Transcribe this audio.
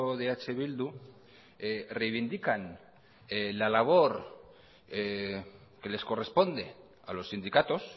de eh bildu reivindican la labor que les corresponde a los sindicatos